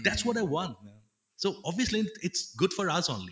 thats what i want so obviously its good for us only